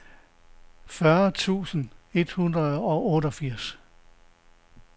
fyrre tusind et hundrede og otteogfirs